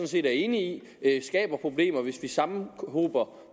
set enig i at det skaber problemer hvis vi sammenhober